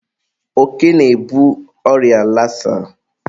oke na-ebu ọrịa lasa.